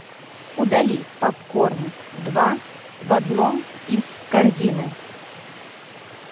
удали попкорн два в одном из корзины